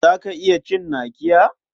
Za ka iya cin nakiya?